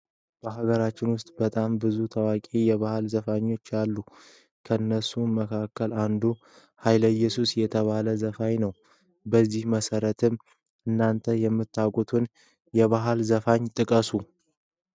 በሃገራችን ውስጥ በጣም ብዙ ታዋቂ የባህል ዘፋኞች አሉ። ከነሱም መካከል አንዱ ሃይለየሱስ የተባለው ዘፋኝ ነው። በዚ መሰረት እናንተ ምታቁትን የባህል ዘፋኝ ጥቀሱ?